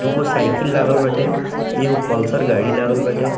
दू गो साइकिल लागल बाटे एगो पल्सर गाड़ी लागल बाटे।